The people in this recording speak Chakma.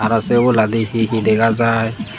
aro say oboladi he he dega jai.